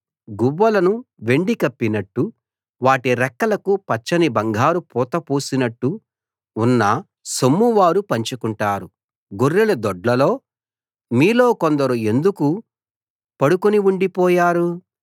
గువ్వలను వెండితో కప్పినట్టు వాటి రెక్కలకు పచ్చని బంగారు పూత పూసినట్టు ఉన్న సొమ్ము వారు పంచుకుంటారు గొర్రెల దొడ్లలో మీలో కొందరు ఎందుకు పడుకుని ఉండిపోయారు